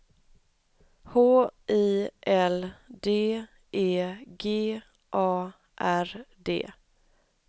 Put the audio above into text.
H I L D E G A R D